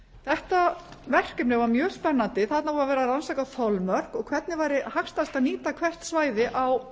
þetta verkefni var mjög spennandi þarna var verið að rannsaka þolmörk og hvernig væri hægt að nýta hvert svæði á